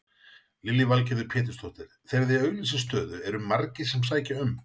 Lillý Valgerður Pétursdóttir: Þegar þið auglýsið stöðu eru margir sem sækja um?